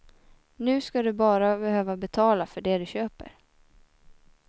Nu skall du bara behöva betala för det du köper.